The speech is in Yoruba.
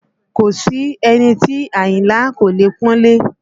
Kò sí ẹni tí Àyìnlá kò leè pọ́nlé